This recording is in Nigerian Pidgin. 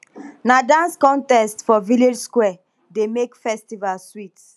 na dance contest for village square dey make festival sweet